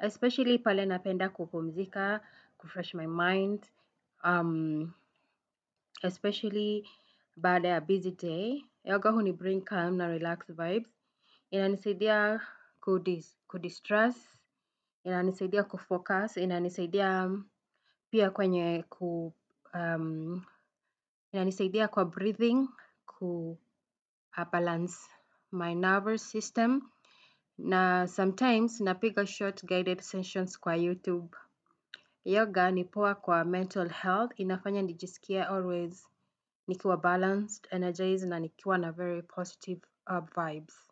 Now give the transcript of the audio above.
'especially' pale napenda kupumzika, 'kufresh my mind, especially' baada ya 'busy day'. Yoga huni 'bring calm na relaxed vibes'. Inanisaidia 'kudistress', inanisaidia 'kufocus', inanisaidia inanisaidia kwa 'breathing, kubalance my nervous system'. Na 'sometimes' napiga 'short guided sessions' kwa YouTube. Yoga ni poa kwa 'mental health'. Inafanya nijisiki 'always' nikiwa 'balanced', 'energized' na nikiwa na 'very positive vibes'.